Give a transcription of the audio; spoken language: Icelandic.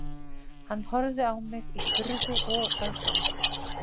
Hann horfði á mig í furðu og aðdáun